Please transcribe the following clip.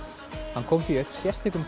hann kom því upp sérstökum